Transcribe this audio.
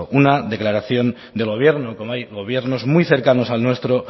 una declaración del gobierno como hay gobiernos muy cercanos al nuestro